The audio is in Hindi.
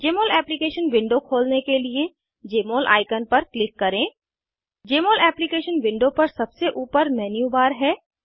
जमोल एप्लीकेशन विंडोे खोलने के लिए जमोल आइकन पर क्लिक करें जमोल एप्लीकेशन विंडो पर सबसे ऊपर मेन्यू बार है